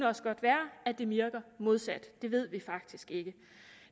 også godt være at det virker modsat det ved vi faktisk ikke